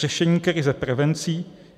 Řešení krize prevencí.